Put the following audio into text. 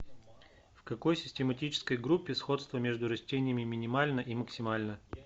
в какой систематической группе сходство между растениями минимально и максимально